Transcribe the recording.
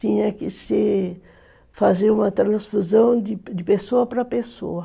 Tinha que se fazer uma transfusão de pessoa para pessoa.